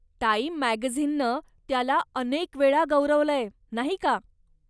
Time मॅगझिननं त्याला अनेकवेळा गौरवलंय, नाही का?